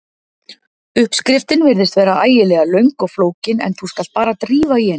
Uppskriftin virðist vera ægilega löng og flókin en þú skalt bara drífa í henni.